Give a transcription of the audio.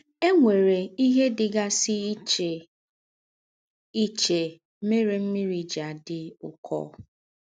È nwèrè íhe dị̀gàsì íchè íchè mère ḿmị́rì jí àdí ụ́kọ́.